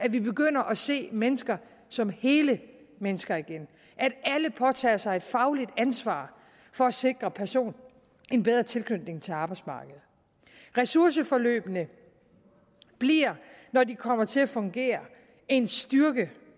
at vi begynder at se mennesker som hele mennesker igen at alle påtager sig et fagligt ansvar for at sikre personen en bedre tilknytning til arbejdsmarkedet ressourceforløbene bliver når de kommer til at fungere en styrke